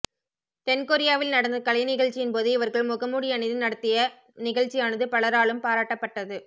தென் கொரியாவில் நடந்த கலை நிகழ்ச்சியின்போது இவர்கள் முகமூடி அணிந்து நடத்திய நிகழ்ச்சியானது பலராலும் பாராட்டப்பட்டது